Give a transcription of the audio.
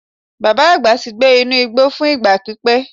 Baba agba ti gbe inu igbo fun igba pipẹ.